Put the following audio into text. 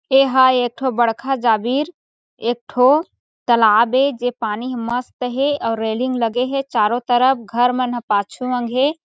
यहाँ एक ठो बड़का जाबिर एक ठो तालाब हे जे पानी मस्त हे और रेलिंग लगे हे चारो तरफ घर मन पाछू अंघे --